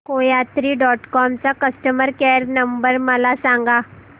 कोयात्री dot com चा customer care number मला सांगा